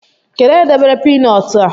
Kedu onye debere piinọt a?